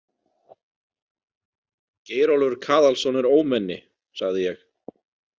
Geirólfur Kaðalsson er ómenni, sagði ég.